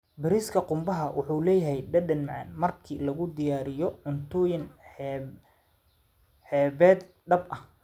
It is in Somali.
Bariiska qumbaha wuxuu leeyahay dhadhan macaan marka lagu diyaariyo cuntooyin xeebeed dhab ah.